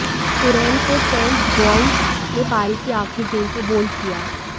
Curran को Trent Boult ने पारी की आखिरी गेंद पर बोल्ड किया